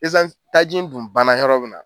taji kun banna yɔrɔ min na.